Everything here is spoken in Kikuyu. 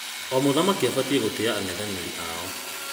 O mũthaki abatiĩ gũtĩa ang'ethanĩri ao.